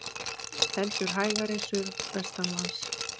Heldur hægari suðvestanlands